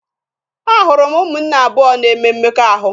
Ahụrụ m ụmụnne abụọ na-eme mmekọahụ.